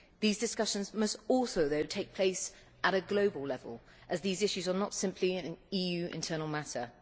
These discussions must also take place at a global level, as these issues are not simply an EU internal matter.